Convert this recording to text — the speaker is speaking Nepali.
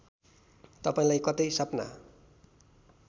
तपाईँलाई कतै सपना